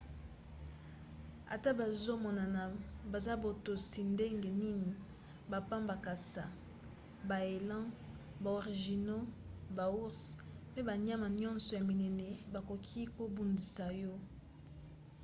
ata bazomonana baza botosi ndenge nini bampakasa baélans baorignaux baours mpe banyama nyonso ya minene bakoki kobundisa yo